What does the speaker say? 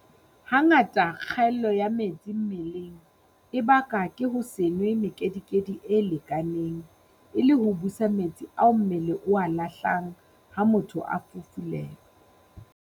Hangata kgaello ya metsi mmeleng e bakwa ke ho se nwe mekedikedi e lekaneng e le ho busa metsi a mmele o a lahlang ha motho a fufulelwa.